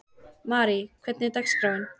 Marí, hvernig er dagskráin?